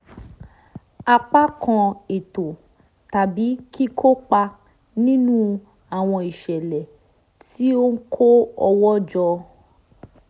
apá kan ètò tàbí kíkópa nínú àwọn ìṣẹ̀lẹ̀ tí ó ń kó owó jọ